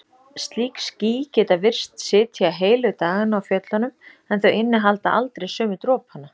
Slík ský geta virst sitja heilu dagana á fjöllunum en þau innihalda aldrei sömu dropana.